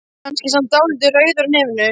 Hann er samt dálítið rauður á nefinu.